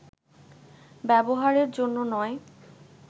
ব্যবহারের জন্য নয়